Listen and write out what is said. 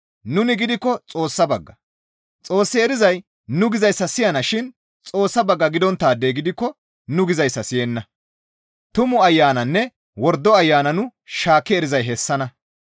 Nuni gidikko Xoossa bagga; Xoos erizay nu gizayssa siyanashin Xoossa bagga gidonttaadey gidikko nu gizayssa siyenna. Tumu Ayananne wordo ayana nu shaakki erizay hayssanna.